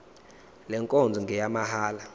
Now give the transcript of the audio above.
le nkonzo ngeyamahala